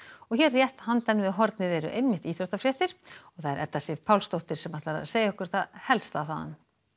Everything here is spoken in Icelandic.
hér rétt handan við hornið eru einmitt íþróttafréttir og það er Edda Sif Pálsdóttir sem ætlar að segja okkur það helsta þaðan